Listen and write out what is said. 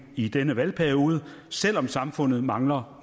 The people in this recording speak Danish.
i denne valgperiode selv om samfundet mangler